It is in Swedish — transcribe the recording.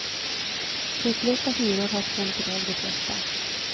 Hutlösa hyror har skrämt i väg de flesta.